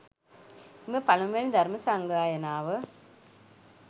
එම පළමුවැනි ධර්ම සංගායනාව